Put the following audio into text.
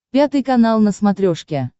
пятый канал на смотрешке